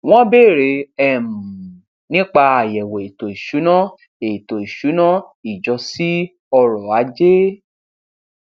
wọn bèèrè um nípa àyẹwò ètò ìsúná ètò ìsúná ìjọ sí ọrọ ajé